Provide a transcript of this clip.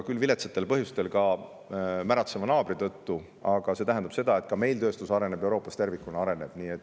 Küll viletsatel põhjustel, ka meie märatseva naabri tõttu, tööstus areneb nii meil kui ka Euroopas tervikuna.